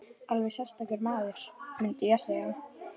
Alveg sérstakur maður, mundi ég segja.